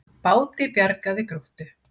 Báti bjargað við Gróttu